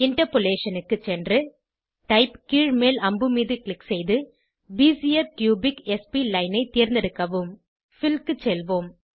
interpolation க்கு சென்று type கீழ்மேல் அம்புமீது க்ளிக் செய்து பெசியர் கியூபிக் ஸ்ப்ளைன் ஐ தேர்ந்தெடுக்கவும் பில் க்கு செல்வோம்